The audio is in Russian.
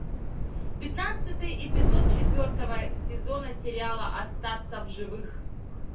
пятнадцатый эпизод четвертого сезона сериала остаться в живых